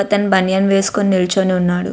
ఒక అతను బనియన్ వేసుకుని నిల్చుని ఉన్నాడు.